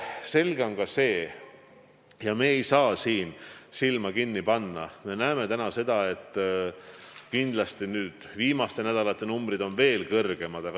Selge on ka see – ja me ei saa siin silma kinni panna, me näeme seda –, et kindlasti on viimaste nädalate numbrid veel suuremad.